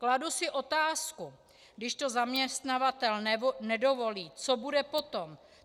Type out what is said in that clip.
Kladu si otázku, když to zaměstnavatel nedovolí, co bude potom.